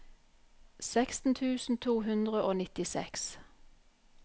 seksten tusen to hundre og nittiseks